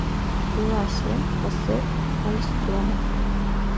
пила семь хосе альстрома